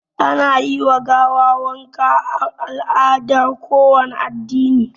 Ana yi wa gawa wanka a al'adar kowane addini